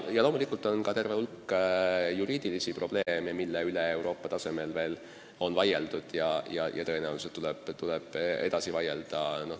Ja loomulikult on ka terve hulk juriidilisi probleeme, mille üle Euroopa tasemel on vaieldud ja tõenäoliselt tuleb edaspidigi vaielda.